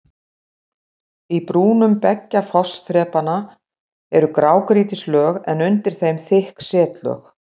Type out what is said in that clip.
Í brúnum beggja fossþrepanna eru grágrýtislög en undir þeim þykk setlög.